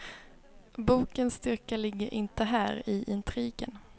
Bokens styrka ligger inte här, i intrigen.